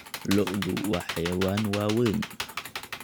Lo'du waa xayawaan waaweyn.